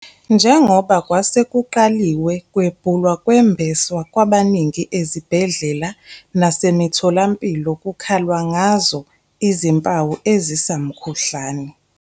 njengoba kwasekuqaliwe kwebhula kwembeswa kwabaningi ezibhedlela nase mitholampilo kukhalwa ngazo izimpawu ezisa mkhuhlane.